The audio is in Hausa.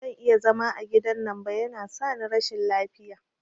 Bazan iya zama a gidan nan ba, yana sani rashin lafiya